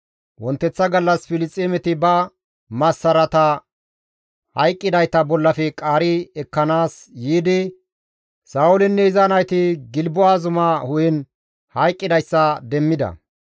Wonteththa gallas Filisxeemeti ola massarata hayqqidayta bollafe qaari ekkanaas yiidi Sa7oolinne iza nayti Gilbo7a zuma hu7en hayqqidayssa demmida.